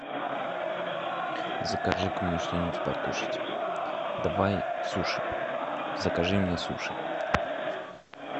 закажи ка мне что нибудь покушать давай суши закажи мне суши